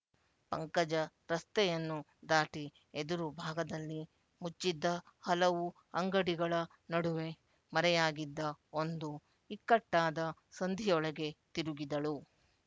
ಪಂಕಜ ರಸ್ತೆಯನ್ನು ದಾಟಿ ಎದುರು ಭಾಗದಲ್ಲಿ ಮುಚ್ಚಿದ್ದ ಹಲವು ಅಂಗಡಿಗಳ ನಡುವೆ ಮರೆಯಾಗಿದ್ದ ಒಂದು ಇಕ್ಕಟ್ಟಾದ ಸಂದಿಯೊಳಗೆ ತಿರುಗಿದಳು